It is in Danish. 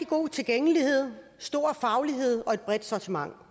god tilgængelighed stor faglighed og et bredt sortiment